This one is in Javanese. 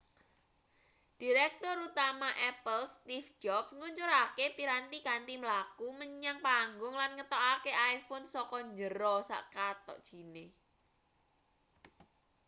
direktur utama apple steeve jobs ngluncurake piranti kanthi mlaku menyang panggung lan ngetokake iphone saka njero sak kathok jine